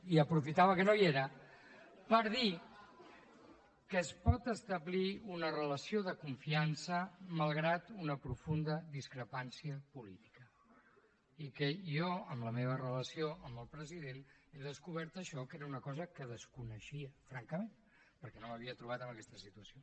i aprofitava que no hi era per dir que es pot establir una relació de confiança malgrat una profunda discrepància política i que jo en la meva relació amb el president he descobert això que era una cosa que desconeixia francament perquè no m’havia trobat en aquesta situació